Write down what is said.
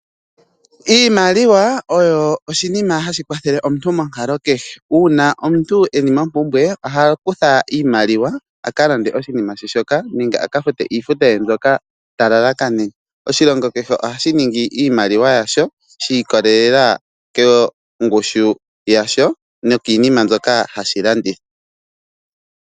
Iimaliwa oyo oshinima hashi kwathele omuntu monkalo kehe. Uuna omuntu e li mompumbwe oha kutha iimaliwa a ka lande oshinima she shoka nenge a ka fute iifuta ye mbyoka ta lalakanene. Oshilongo kehe ohashi ningi iimaliwa yasho shi ikolelela kongushu yasho nokiinima mbyoka hashi landitha.